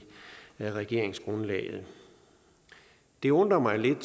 regeringsgrundlaget det undrer mig lidt